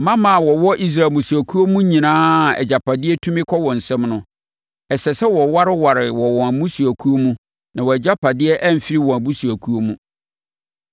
Mmammaa a wɔwɔ Israel mmusuakuo mu nyinaa a agyapadeɛ tumi kɔ wɔn nsam no, ɛsɛ sɛ wɔwareware wɔ wɔn mmusuakuo mu na wɔn agyapadeɛ amfiri wɔn abusuakuo mu.